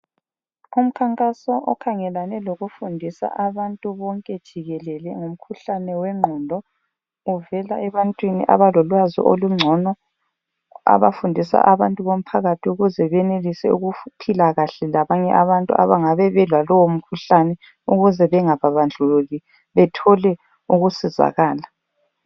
Umkhankaso okhangelane lokufundisa abantu bonke jikelele, ngomkhuhlane wengqondo, uvela ebantwini abalolwazi olungcono. Abafundisa abantu bomphakathi ukuze benelise ukuphila kahle labanye abantu abangabe belalowo mkhuhlane ukuze bengababandlulile, bethole ukusizakala.